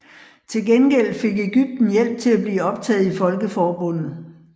Til gengæld fik Ægypten hjælp til at blive optaget i Folkeforbundet